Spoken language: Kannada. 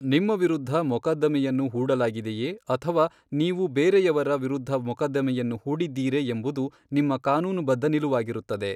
ನಿಮ್ಮ ವಿರುದ್ಧ ಮೊಕದ್ದಮೆಯನ್ನು ಹೂಡಲಾಗಿದೆಯೇ ಅಥವಾ ನೀವು ಬೇರೆಯವರ ವಿರುದ್ಧ ಮೊಕದ್ದಮೆಯನ್ನು ಹೂಡಿದ್ದೀರೇ ಎಂಬುದು ನಿಮ್ಮ ಕಾನೂನುಬದ್ಧ ನಿಲುವಾಗಿರುತ್ತದೆ.